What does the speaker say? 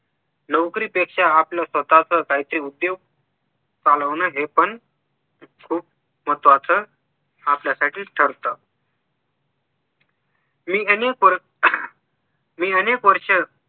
नोकरीपेक्षा आपला स्वतःच काहीतरी उद्योग चालवणं हे पण खूप महत्वाचं आपल्यासाठीच ठरत मी अनेक मी अनेक वर्ष